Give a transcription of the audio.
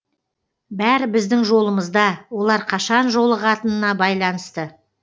бәрі біздің жолымызда олар қашан жолығатынына байланысты